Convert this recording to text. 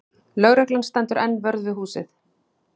Lögreglan stendur enn vörð við húsið